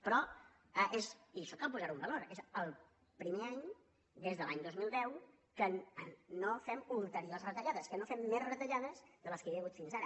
però és i això cal posar ho en valor el primer any des de l’any dos mil deu que no fem ulteriors retallades que no fem més retallades de les que hi ha hagut fins ara